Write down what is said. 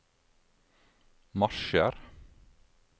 marsjer